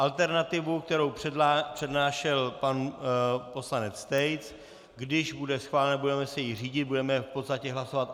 Alternativu, kterou přednášel pan poslanec Tejc, když bude schválena, budeme se jí řídit, budeme v podstatě hlasovat